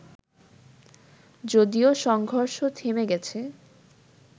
যদিও সংঘর্ষ থেমে গেছে